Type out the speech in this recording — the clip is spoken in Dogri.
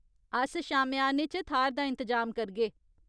अस शामेआने च थाह्‌र दा इंतजाम करगे।